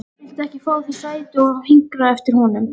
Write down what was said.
Viltu ekki fá þér sæti og hinkra eftir honum?